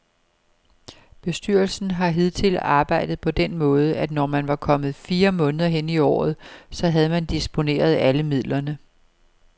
Bestyrelsen har hidtil arbejdet på den måde, at når man var kommet fire måneder hen i året, så havde man disponeret alle midlerne.